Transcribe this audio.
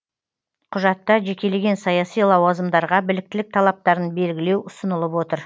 құжатта жекелеген саяси лауазымдарға біліктілік талаптарын белгілеу ұсынылып отыр